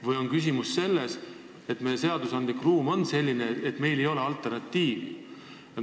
Või siis on asi selles, et meie seadusandlik ruum on selline, et meil ei ole alternatiivi.